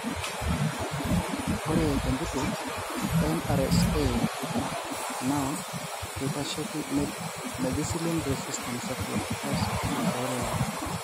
ore tenkiti,:MRSA na kitasheiki methicillin resistant staphylococcus aureus.